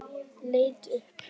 Leit upp.